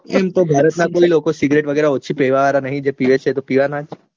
એમ તો ભારત માં એ લોકો cigarette વગેરે ઓછી લેવા વાળા નહિ જે પીવા વાળા તો પીવા ના જ છે.